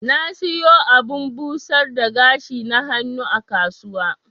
Na siyo abun busar da gashi na hannu a kasuwa.